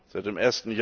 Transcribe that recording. Seit dem